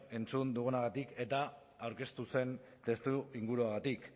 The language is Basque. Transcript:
entzun dudanagatik eta aurkeztu zen testuinguruagatik